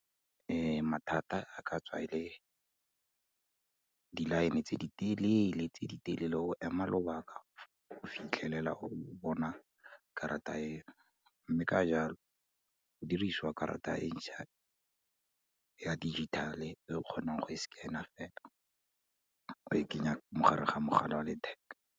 Mathata a ka tswa e le, di-line-e tse di telele, tse di telele o ema lobaka go fitlhelela o bona karata e, mme ka jalo go dirisiwa karata e ntšha ya digital-e, e o kgonang go e scanner, o e kenya mo gare ga mogala wa letheka.